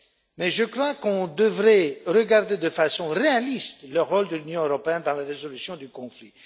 Mais je crois que l'on devrait regarder de façon réaliste le rôle de l'Union européenne dans la résolution du conflit.